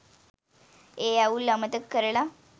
ඒ අවුල් අමතක කරලා